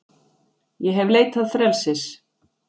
Ég hef leitað frelsis,